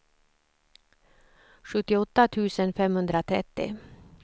sjuttioåtta tusen femhundratrettio